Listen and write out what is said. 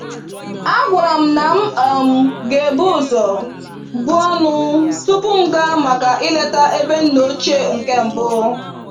A gwara m na m um gebu ụzọ buo ọnụ tupu m gaa maka ileta ebe ndị nna ochie nke mbụ.